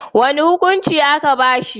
Wani hukuncin a'ka ba shi.